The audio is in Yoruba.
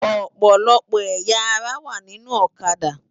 Òpòlòpò ëyá àrá wá ninú Òkâdá